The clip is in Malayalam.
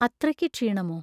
അത്രയ്ക്ക് ക്ഷീണമോ?